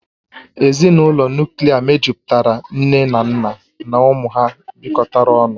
Ezinụlọ Nuklia mejupụtara nne na nna na ụmụ ha bịkotara ọnụ